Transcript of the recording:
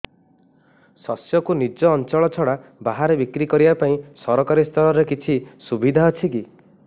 ଶସ୍ୟକୁ ନିଜ ଅଞ୍ଚଳ ଛଡା ବାହାରେ ବିକ୍ରି କରିବା ପାଇଁ ସରକାରୀ ସ୍ତରରେ କିଛି ସୁବିଧା ଅଛି କି